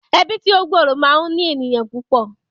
Ẹbí tí ó gbòòrò máa ń ní ènìyàn púpọ̀